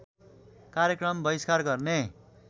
कार्यक्रम बहिष्कार गर्ने